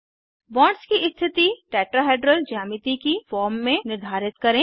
bonds की स्थिति tetrahedral ज्यामिति की फॉर्म में निर्धारित करें